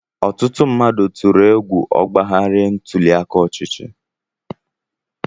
Ọtụtụ mmadụ tụrụ egwu ọgbaghara ntuli aka ọchịchị.